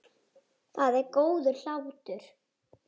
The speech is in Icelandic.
Það er góður hlátur.